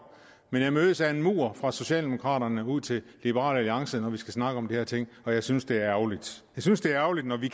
men jeg mødes af en mur fra socialdemokraterne og ud til liberal alliance når vi skal snakke om de her ting og jeg synes det er ærgerligt jeg synes det er ærgerligt når vi